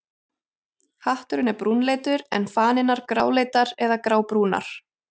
Hatturinn er brúnleitur en fanirnar gráleitar eða grábrúnar.